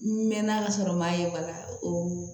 N mɛn na ka sɔrɔ n m'a ye bana o